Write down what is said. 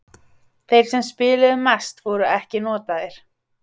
Þeir sem spiluðu mest voru ekki notaðir.